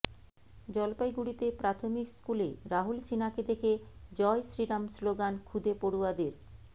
জলপাইগুড়িতে প্রাথমিক স্কুলে রাহুল সিনহাকে দেখে জয় শ্রীরাম স্লোগান খুদে পড়ুয়াদের